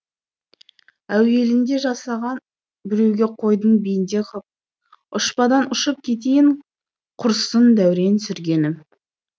әуелінде жасаған біреуге қойдың бенде қып ұшпадан ұшып кетейін құрысын дәурен сүргенім